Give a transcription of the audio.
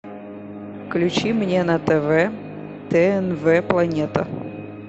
включи мне на тв тнв планета